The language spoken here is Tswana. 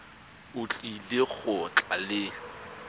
o tlile go tla le